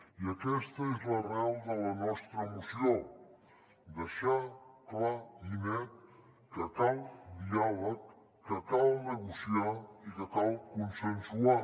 i aquesta és l’arrel de la nostra moció deixar clar i net que cal diàleg que cal negociar i que cal consensuar